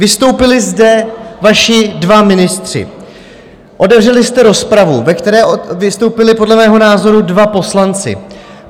Vystoupili zde vaši dva ministři, otevřeli jste rozpravu, ve které vystoupili, podle mého názoru, dva poslanci.